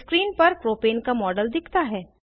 screen पर propane का model दिखता है